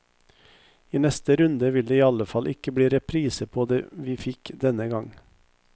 I neste runde vil det iallfall ikke bli reprise på det vi fikk denne gang.